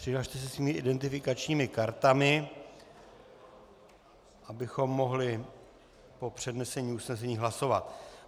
Přihlaste se svými identifikačními kartami, abychom mohli po přednesení usnesení hlasovat.